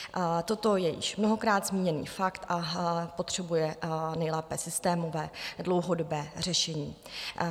Toto je již mnohokrát zmíněný fakt a potřebuje nejlépe systémové dlouhodobé řešení.